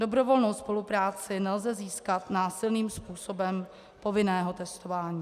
Dobrovolnou spolupráci nelze získat násilným způsobem povinného testování.